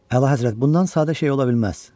Əla Həzrət, bundan sadə şey ola bilməz.